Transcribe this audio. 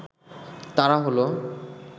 তারা হলো